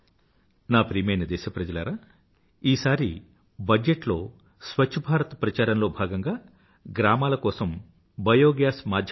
నా ప్రియమైన దేశప్రజలారా ఈసారి బడ్జెట్ లో స్వఛ్ఛభారత్ ప్రచారంలో భాగంగా గ్రామాల కోసం బయోగ్యాస్ మాధ్యమం ద్వారా